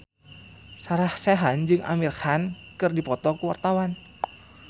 Sarah Sechan jeung Amir Khan keur dipoto ku wartawan